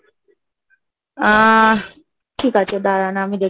আহ, ঠিক আছে দাঁড়ান, আমি দেখে,